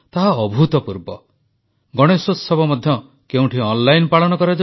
ଦେଶରେ ହେଉଥିବା ପ୍ରତ୍ୟେକ ଆୟୋଜନରେ ଯେଉଁଭଳି ସଂଯମତା ଏବଂ ଆଡମ୍ବରଶୂନ୍ୟତା ଏଥର ପରିଲକ୍ଷିତ ହେଉଛି ତାହା ଅଭୂତପୂର୍ବ